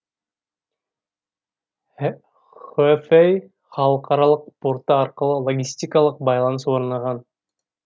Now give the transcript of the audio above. хэфэй халықаралық порты арқылы логистикалық байланыс орнаған